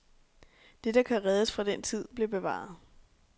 Det, der kan reddes fra den tid, bliver bevaret.